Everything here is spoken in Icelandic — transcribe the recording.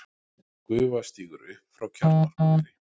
Gufa stígur upp frá kjarnorkuveri.